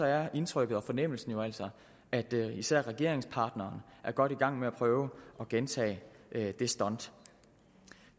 er indtrykket og fornemmelsen jo altså at især regeringspartneren er godt i gang med at prøve at gentage det stunt